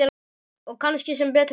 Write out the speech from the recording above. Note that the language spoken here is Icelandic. Og kannski sem betur fer.